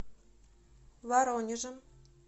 воронежем